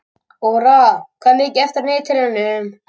Ora, hvað er mikið eftir af niðurteljaranum?